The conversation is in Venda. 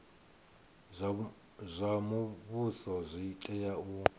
zwa muvhuso zwi tea u